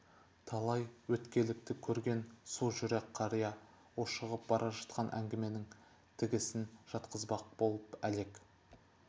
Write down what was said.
талай өткелекті көрген сужүрек қария ушығып бара жатқан әңгіменің тігісін жатқызбақ боп әлек